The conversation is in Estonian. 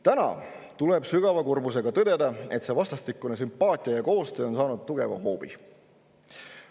Täna tuleb sügava kurbusega tõdeda, et see vastastikune sümpaatia ja koostöö on saanud tugeva hoobi.